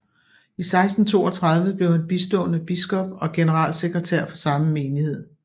I 1632 blev han bistående biskop og generalsekretær for samme menighed